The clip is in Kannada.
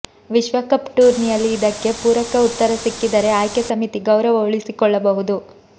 ವಿಶ್ವಕಪ್ ಟೂರ್ನಿಯಲ್ಲಿ ಇದಕ್ಕೆ ಪೂರಕ ಉತ್ತರ ಸಿಕ್ಕಿದರೆ ಆಯ್ಕೆ ಸಮಿತಿ ಗೌರವ ಉಳಿಸಿಕೊಳ್ಳಬಹುದು